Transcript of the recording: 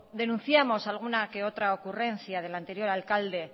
denunciamos alguna que otra ocurrencia del anterior alcalde